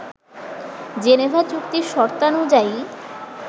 Geneva চুক্তির শর্তানুযায়ী